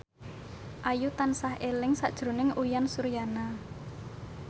Ayu tansah eling sakjroning Uyan Suryana